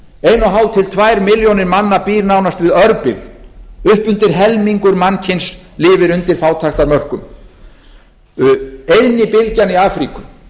hálf til tvær milljónir manna búa nánast við örbirgð upp undir helmingur mannkyns lifir undir fátæktarmörkum eyðnibylgjan í afríku